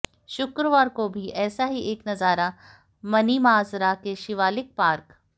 शुक्रवार को भी ऐसा ही एक नजारा मनीमाजरा के शिवालिक पार्क